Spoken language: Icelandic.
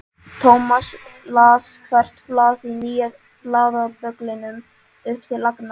Thomas las hvert blað í nýja blaðabögglinum upp til agna.